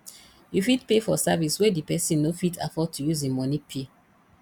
you fit pay for service wey di person no fit afford to use im money pay